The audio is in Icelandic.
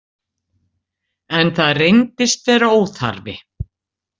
En það reyndist vera óþarfi.